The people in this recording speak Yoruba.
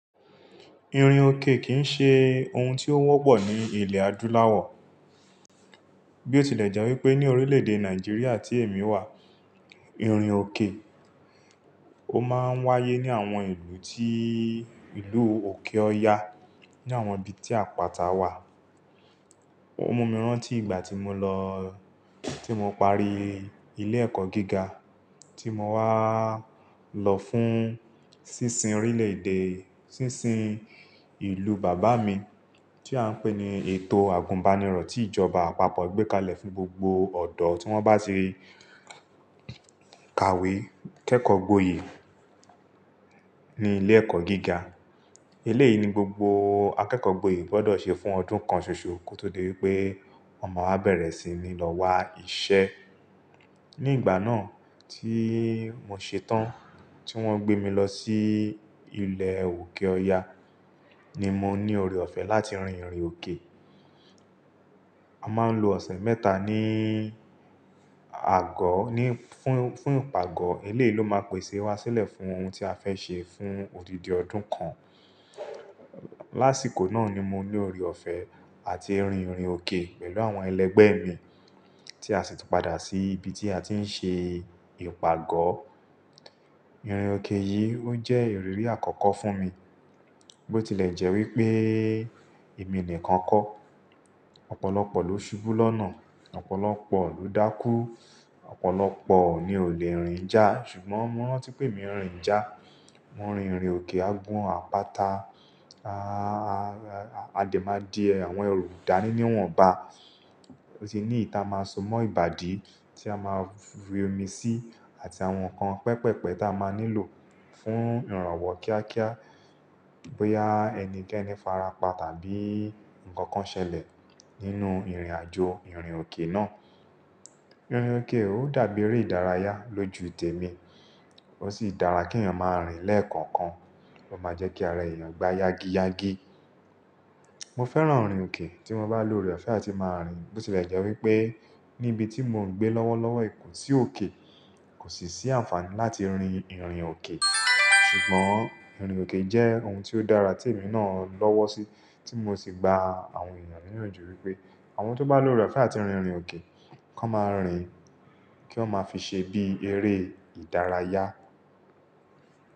Irin òkè kì í ṣe ohun tí ó wọ́pọ̀ ní ilẹ̀ adúláwọ̀. Bí ó tilẹ̀ jẹ́ wípé ní orílẹ̀ èdè Nàìjíríà tí èmi wà, irin òkè ó máa ń wáyé ní àwọn ìlú tí ìlú òkè ọ́ ya ní àwọn ibi tí àpáta wà. Ó mú mi rántí ìgbà tí mo lọ-- tí mo parí ilé ẹ̀kọ́ gíga tí mo wá lọ fún sísin orílẹ̀ èdè, sísin ìlú bàbá mi tí a ń pè ní ètò àgùnbánirọ̀ tí ìjọba àpapọ̀ gbé kalẹ̀ fún gbogbo ọ̀dọ́ tí wọ́n bá ti rí kàwé kẹ́kọ̀ọ́ gboyè ní ilé ẹ̀kọ́ gíga. Eléyìí ni gbogbo akẹ́kọ̀ọ́ gboyè gbọ́dọ̀ ṣe fún ọdún kan ṣoṣo kó tó dé pé wọ́n máa wà bẹ̀rẹ̀ sí ní lọ wá iṣẹ́. Ní ìgbà náà tí mo ṣetán tí wọ́n gbé mi lọ sí ilẹ̀ òkè ọya ni mo ní ọrẹ ọ̀fẹ́ láti rin ìrìn òkè. A máa ń lo ọ̀sẹ̀ mẹ́ta ní àgọ́, ní-- fún, fún ìpàgọ́. Èléyìí lo máa pèsè wá sílẹ̀ fún ohun tí a fẹ́ ṣe fún odidi ọdún kan. Lásìkò náà ni mo ní ọrẹ ọ̀fẹ́ àti rin ìrìn òkè pẹ̀lú àwọn ẹlẹgbẹ́ mi tí a sì ti padà sí ibi tí a ti ń ṣe ìpàgọ́. Ìrìn òkè yìí ó jẹ́ ìrírí àkọ́kọ́ fún mi. Bí ó tilẹ̀ jẹ́ wípé èmi nìkan kọ́. Ọ̀pọ̀lọpọ̀ ló ṣubú lọ́nà, Ọ̀pọ̀lọpọ̀ ló dákú, Ọ̀pọ̀lọpọ̀ ni ò le rìn já ṣùgbọ́n mo rántí pé emí rìn já. Mo rin ìrìn òkè agun àpáta, a dẹ̀ máa di àwọn erù dání ni wọn bá. Bó ṣe ní èyítí a máa so mọ́ ìbàdí tí a máa fi omi sí àti àwọn nǹkan pẹpẹpẹ tí a máa nílò fún ìrànwọ́ kíákíá bóyá ẹnikẹ́ni farapa tàbí nǹkan kan ṣẹlẹ̀ nínú ìrìnàjò ìrìn òkè náà. Ìrìn òkè ó dàbí eré ìdárayá lójú tèmi. Ó sì dára kí èèyàn máa rìn lẹ́ẹ̀kọ̀ọ̀kan. Ó máa jẹ́ kí ara èèyàn gba yágíyágí. Mo fẹ́ràn ìrìn òkè tí mo bá lo ọrẹ ọ̀fẹ́ àti máa rìn. Bí ó tilẹ̀ jẹ́ wípé níbi tí mò ń gbé lọ́wọ́lọ́wọ́, kó sì òkè kò sì sí àǹfààní láti rin ìrìn òkè, ṣùgbọ́n ìrìn òkè jẹ́ ohun tí ó dára tí èmi náà lọ́wọ́ sí tí mo sì gbà àwọn ènìyàn níyànjú wípé àwọn tó bá lo ọrẹ ọ̀fẹ́ àti rin ìrìn òkè, kọ́ máa rìn kí wọn máa fi ṣe bí eré ìdárayá.